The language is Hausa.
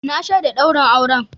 Na shaida daurin auren.